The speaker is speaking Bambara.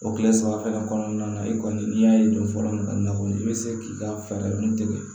O kile saba fɛnɛ kɔnɔna na i kɔni n'i y'a ye don fɔlɔ min na kɔni i bɛ se k'i ka fɛɛrɛ min tigɛ